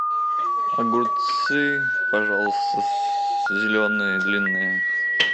огурцы пожалуйста зеленые длинные